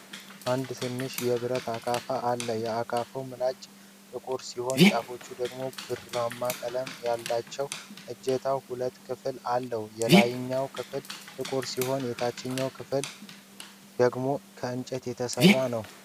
አንድ ትንሽ የብረት አካፋ አለ። የአካፋው ምላጭ ጥቁር ሲሆን ጫፎቹ ደግሞ ብርማ ቀለም አላቸው። እጀታው ሁለት ክፍል አለው፤ የላይኛው ክፍል ጥቁር ሲሆን የታችኛው እና ዋናው ክፍል ደግሞ ከእንጨት የተሰራ ነው።